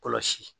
Kɔlɔsi